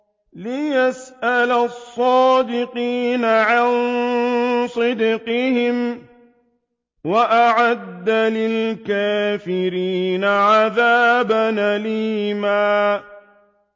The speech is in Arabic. لِّيَسْأَلَ الصَّادِقِينَ عَن صِدْقِهِمْ ۚ وَأَعَدَّ لِلْكَافِرِينَ عَذَابًا أَلِيمًا